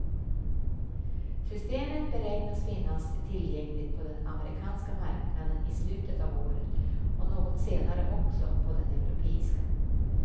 Systemet beräknas finnas tillgängligt på den amerikanska marknaden i slutet av året och något senare också på den europeiska.